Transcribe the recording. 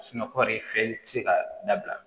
kɔɔri feere tɛ se ka dabila